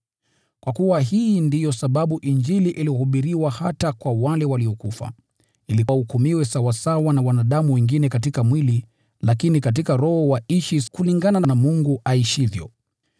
Kwa kuwa hii ndiyo sababu Injili ilihubiriwa hata kwa wale waliokufa, ili wahukumiwe sawasawa na wanadamu wengine katika mwili, lakini katika roho waishi kulingana na Mungu aishivyo.